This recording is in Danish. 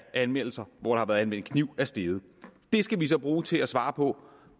anmeldelser hvor der har været anvendt kniv er steget det skal vi så bruge til at svare på